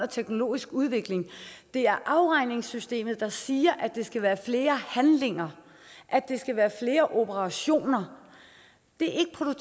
teknologiske udvikling det er afregningssystemet der siger at der skal være flere handlinger at der skal være flere operationer det